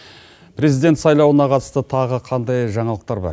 президент сайлауына қатысты тағы қандай жаңалықтар бар